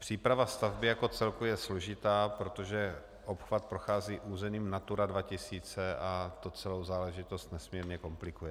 Příprava stavby jako celku je složitá, protože obchvat prochází územím Natura 2000 a to celou záležitost nesmírně komplikuje.